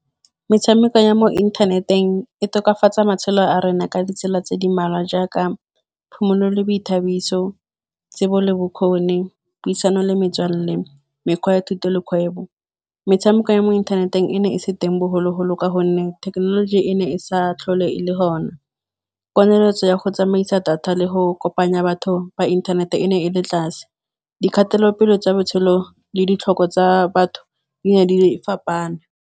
Metshameko ya mo inthaneteng e tokafatsa matshelo a rona ka ditsela tse di mmalwa. Jaaka phomolo boithabiso, tsebo le bokgoni puisano le metswalle le mekgwa ya thuto le kgwebo. Metshameko ya mo inthaneteng e ne e se teng bogologolo ka gonne thekenoloji e ne e sa tlhole e le gona. Poneletso ya go tsamaisa data le go kopanya batho ba inthanete e ne e le tlase, di kgatelopele tsa botshelo le ditlhoko tsa batho di ne di fapana.